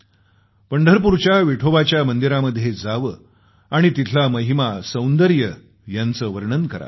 पंढरपूरच्या विठोबाच्या मंदिरामध्ये जावं आणि तिथला महिमा सौंदर्य यांचं वर्णन करावं